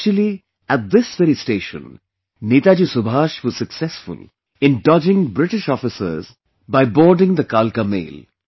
Actually at this very station, Netaji Subhash was successful in dodging British officers by boarding the Kalka Mail